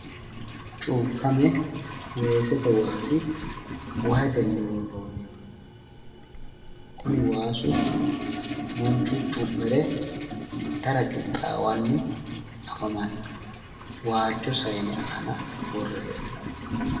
Cuukkame weesete waasi wahetenni worroonniho. Kuni waasu manchu itara cu'mire leellanno. Waajjo sayine aana worre hee'noonni.